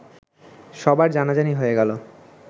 সবার জানাজানি হয়ে গেল